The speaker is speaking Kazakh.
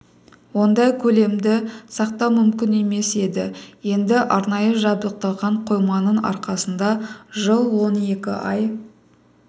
ондай көлемді сақтау мүмкін емес еді енді арнайы жабдықталған қойманың арқасында жыл он екі ай